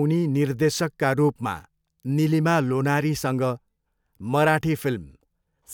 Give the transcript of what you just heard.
उनी निर्देशकका रूपमा निलिमा लोनारीसँग मराठी फिल्म